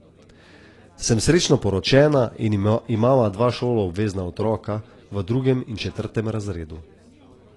Sem srečno poročena in imava dva šoloobvezna otroka, v drugem in četrtem razredu.